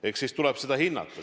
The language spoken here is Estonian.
Eks siis tuleb seda hinnata.